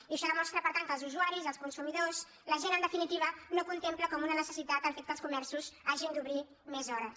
i això demostra per tant que els usuaris els consumidors la gent en definitiva no contempla com una necessitat el fet que els comerços hagin d’obrir més hores